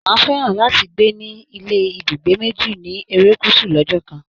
Máà fẹ́ràn láti gbé ní ilé ibúgbé méjì ni erékùṣù lọ́jọ́ kan